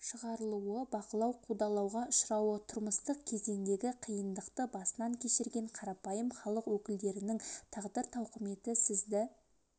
шығарылуы бақылау қудалауға ұшырауы тұрмыстық кезеңдегі қиындықты басынан кешірген қарапайым халық өкілдерінің тағдыр тауқыметі сізді